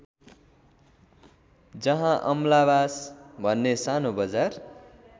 जहाँ अमलाबास भन्ने सानो बजार